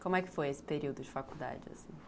Como é que foi esse período de faculdade, assim?